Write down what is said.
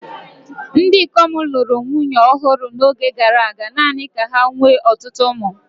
Ndị ikom lụrụ nwunye ọhụrụ n'oge gara aga, naanị ka ha nwee ọtụtụ ụmụ.